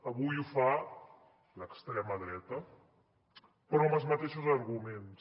avui ho fa l’extrema dreta però amb els mateixos arguments